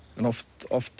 oft